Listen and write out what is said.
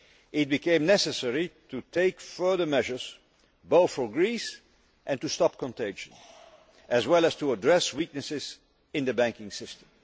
It became necessary to take further measures, both for Greece and to stop contagion, as well as to address weaknesses in the banking system.